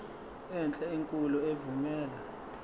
enhle enkulu evumela